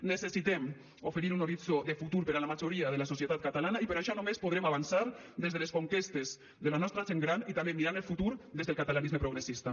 necessitem oferir un horitzó de futur per a la majoria de la societat catalana i per això només podrem avançar des de les conquestes de la nostra gent gran i també mirant el futur des del catalanisme progressista